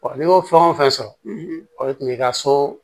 n'i y'o fɛn o fɛn sɔrɔ o tun y'i ka so